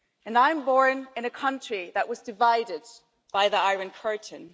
I was born in a country that was divided by the Iron Curtain.